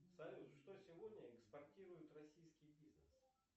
салют что сегодня экспортирует российский бизнес